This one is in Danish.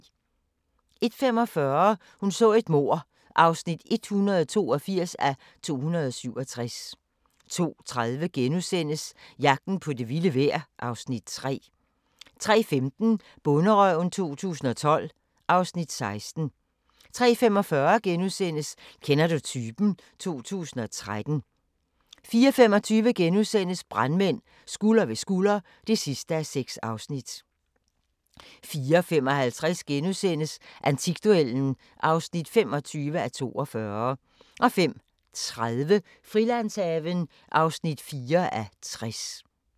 01:45: Hun så et mord (182:267) 02:30: Jagten på det vilde vejr (Afs. 3)* 03:15: Bonderøven 2012 (Afs. 16) 03:45: Kender du typen? 2013 * 04:25: Brandmænd – Skulder ved skulder (6:6)* 04:55: Antikduellen (25:42)* 05:30: Frilandshaven (4:60)